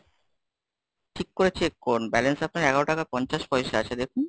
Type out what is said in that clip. ঠিক করে check করুন, balance আপনার এগারো টাকা পঞ্চাশ পয়সা আছে দেখুন।